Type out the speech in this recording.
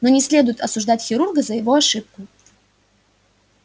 но не следует осуждать хирурга за его ошибку